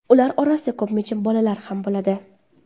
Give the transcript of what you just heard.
Ular orasida ko‘pincha bolalar ham bo‘ladi.